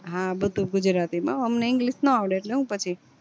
હા બધુજ ગુજરાતી માં હો અમને english નો આવડે એટલે સુ પછી